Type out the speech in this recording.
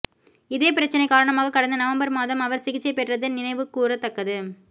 இதேபிரச்னை காரணமாக கடந்த நவம்பர் மாதம் அவர் சிகிச்சை பெற்றது நினைவுகூரத்தக்கது